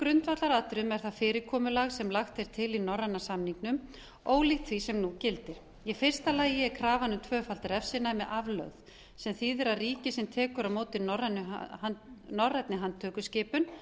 atriðum er það fyrirkomulag sem lagt er til í norræna samningnum ólíkt því sem nú gildir í fyrsta lagi er krafan um tvöfalt refsinæmi aflögð sem þýðir að ríki sem tekur á móti norrænni handtökuskipun